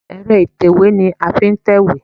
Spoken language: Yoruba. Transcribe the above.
Ẹ̀rọ ìtẹ̀wé ni a fi ń tẹ̀wé.